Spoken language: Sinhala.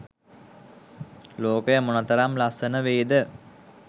ලෝකය මොනතරම් ලස්සන වේද?